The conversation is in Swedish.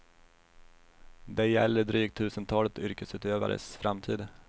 Det gäller drygt tusentalet yrkesutövares framtid.